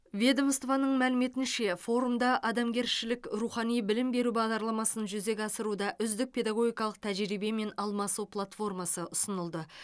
ведомствоның мәліметінше форумда адамгершілік рухани білім беру бағдарламасын жүзеге асыруда үздік педагогикалық тәжірибемен алмасу платформасы ұсынылды